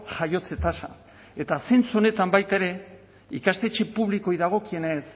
jaiotze tasa eta zentzu honetan baita ere ikastetxe publikoei dagokienez